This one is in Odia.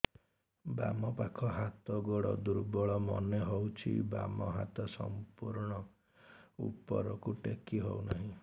ବାମ ପାଖ ହାତ ଗୋଡ ଦୁର୍ବଳ ମନେ ହଉଛି ବାମ ହାତ ସମ୍ପୂର୍ଣ ଉପରକୁ ଟେକି ହଉ ନାହିଁ